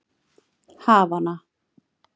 Havana